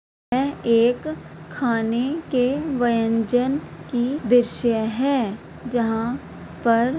यह एक खाने के व्यंजन की दृश्य है जहाँ पर--